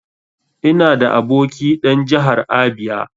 Ina da aboki dan Jahar Abia.